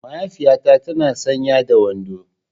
Mahaifiyata tana sanye da wando.